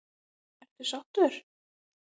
Ertu sáttur?